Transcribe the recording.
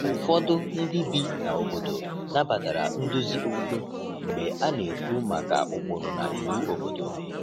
Ụfọdụ ndị bi na obodo nabatara nduzi okpukpe mgbe a na-ekwu maka ụkpụrụ na iwu obodo.